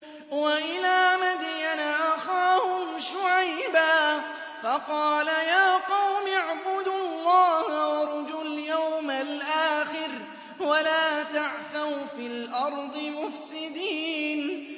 وَإِلَىٰ مَدْيَنَ أَخَاهُمْ شُعَيْبًا فَقَالَ يَا قَوْمِ اعْبُدُوا اللَّهَ وَارْجُوا الْيَوْمَ الْآخِرَ وَلَا تَعْثَوْا فِي الْأَرْضِ مُفْسِدِينَ